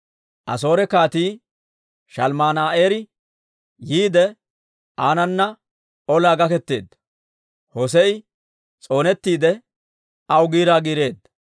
Asoore Kaatii Shalmman"eeseri yiide, aanana olaa gaketeedda; Hossee'i s'oonettiide, aw giiraa giireedda.